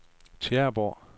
Tjæreborg